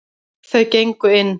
Þau gengu inn.